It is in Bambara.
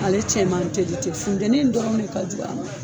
Ale cɛ man teli te, funteni in dɔrɔn de ka jug'a ma.